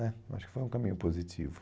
né acho que foi um caminho positivo.